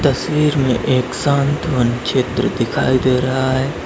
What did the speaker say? तस्वीर में एक शांत वन चित्र दिखाई दे रहा है।